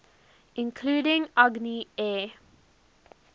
including agni air